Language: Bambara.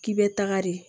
K'i bɛ taga de